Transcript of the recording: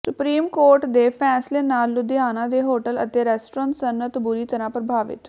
supreme court ਦੇ ਫੈਸਲੇ ਨਾਲ ਲੁਧਿਆਣਾ ਦੇ ਹੋਟਲ ਅਤੇ ਰੈਸਟੋਰੈਂਟ ਸਨਅਤ ਬੁਰੀ ਤਰ੍ਹਾਂ ਪ੍ਰਭਾਵਿਤ